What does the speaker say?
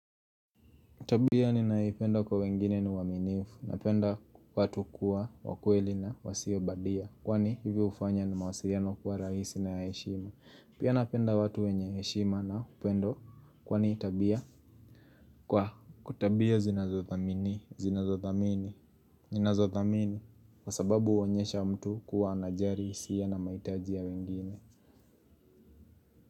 Tabia ninayoipenda kwa wengine ni uaminifu napenda watu kuwa wakweli na wasio badia. Kwani hivi hufanya ni mawasiliano kuwa rahisi na heshima. Pia napenda watu wenye heshima na upendo kwani tabia kwa kwa tabia zinazothamini, zinazothamini, zinazothamini kwa sababu uonyesha mtu kuwa anajari, isia na maitaji ya wengine.